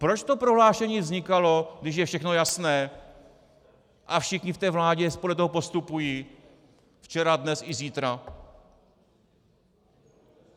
Proč to prohlášení vznikalo, když je všechno jasné a všichni v té vládě podle toho postupují včera, dnes i zítra?